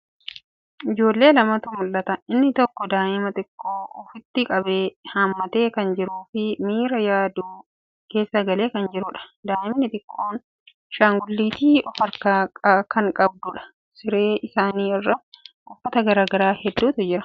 Ijoollee lamatu mul'ata. Inni tokko daa'ima xiqqoo ofitti qabee hammatee kan jiruu fii miira yaaduu keessa galee kan jiruudha. Daa'imni xiqqoon ashangulliitii of harkaa kan qabduudha. Siree isaanii irra uffata garagaraa heddutu jira.